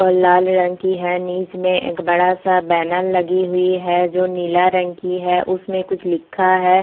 और लाल रंग की है नीच में एक बड़ा-सा बैनल लगी हुई है जो नीला रंग की है उसमें कुछ लिखा है --